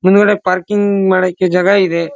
ಮುಂದ್ಗಡೆ ಪಾರ್ಕಿಂಗ್ ಮಾಡಕ್ಕೆ ಜಾಗ ಇದೆ.